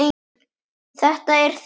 Þetta er þitt mál.